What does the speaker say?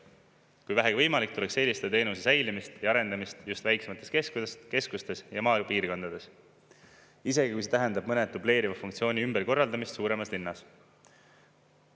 Kui vähegi võimalik, tuleks eelistada teenuse säilimist ja arendamist just väiksemates keskustes ja maapiirkondades, isegi kui see tähendab mõne dubleeriva funktsiooni ümberkorraldamist suuremas linnas.